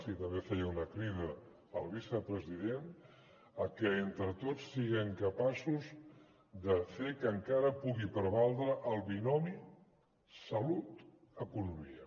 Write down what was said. i també feia una crida el vicepresident a que entre tots siguem capaços de fer que encara pugui prevaldre el binomi salut economia